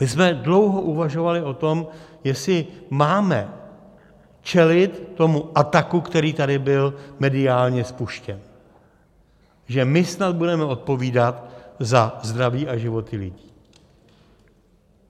My jsme dlouho uvažovali o tom, jestli máme čelit tomu ataku, který tady byl mediálně spuštěn, že my snad budeme odpovídat za zdraví a životy lidí.